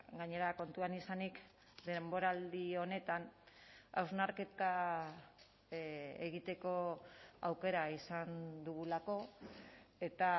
gainera kontuan izanik denboraldi honetan hausnarketa egiteko aukera izan dugulako eta